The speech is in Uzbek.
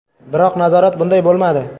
Biroq nazorat bunday bo‘lmadi.